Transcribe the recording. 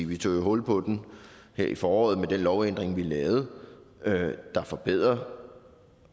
vi tog jo hul på den her i foråret med den lovændring vi lavede der forbedrer